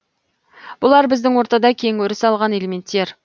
бұлар біздің ортада кең өріс алған элементтер